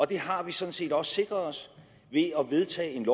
det har vi sådan set også sikret os ved at vedtage en